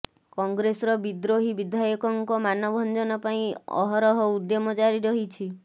କଂଗ୍ରେସର ବିଦ୍ରୋହୀ ବିଧାୟକଙ୍କ ମାନଭଞ୍ଜନ ପାଇଁ ଅହରହ ଉଦ୍ୟମ ଜାରି ରହିଛି